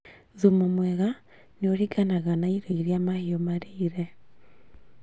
Thumu mwega nĩũringanaga na irio irĩa mahiũ marĩire